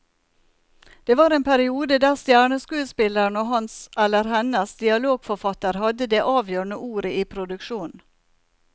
Det var en periode der stjerneskuespilleren og hans eller hennes dialogforfatter hadde det avgjørende ordet i produksjonen.